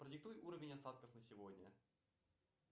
продиктуй уровень осадков на сегодня